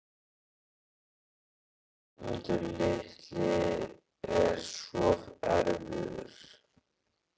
Hann Guðmundur litli er svo erfiður.